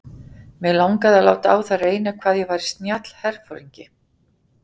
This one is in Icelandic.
Mig langaði að láta á það reyna hvað ég væri snjall herforingi.